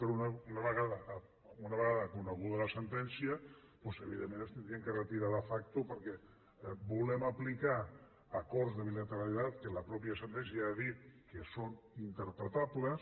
però una vegada coneguda la sentència doncs evidentment s’haurien de retirar de facto perquè volem aplicar acords de bilateralitat que la mateixa sentència ja ha dit que són interpretables